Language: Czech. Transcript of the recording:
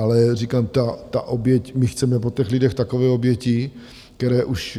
Ale říkám, ta oběť, my chceme po těch lidech takové oběti, které už